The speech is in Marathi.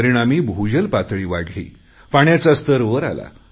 परिणामी भूजल पातळी वाढली पाण्याचा स्तर वर आला